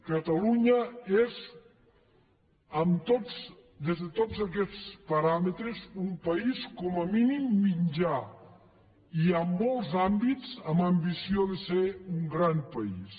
catalunya és des de tots aquests paràmetres un país com a mínim mitjà i en molts àmbits amb ambició de ser un gran país